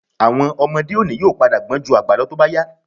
Àwọn ọmọdé òní yóò padà gbọ́n ju àgbà lọ tó bá yá